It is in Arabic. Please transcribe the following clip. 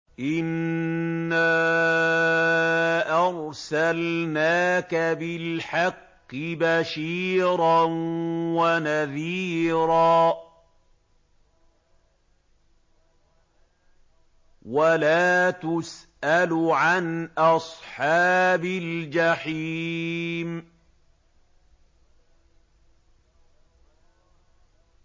إِنَّا أَرْسَلْنَاكَ بِالْحَقِّ بَشِيرًا وَنَذِيرًا ۖ وَلَا تُسْأَلُ عَنْ أَصْحَابِ الْجَحِيمِ